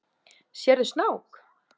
Sérðu snák?